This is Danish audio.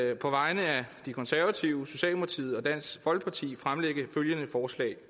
jeg på vegne af de konservative socialdemokratiet og dansk folkeparti fremlægge følgende forslag